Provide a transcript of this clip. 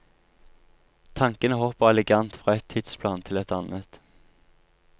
Tankene hopper elegant fra et tidsplan til et annet.